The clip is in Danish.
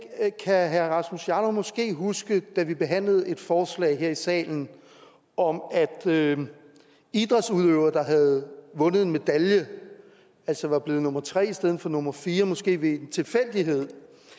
herre rasmus jarlov måske kan huske da vi behandlede et forslag her i salen om at at idrætsudøvere der havde vundet en medalje altså var blevet nummer tre i stedet for nummer fire måske ved en tilfældighed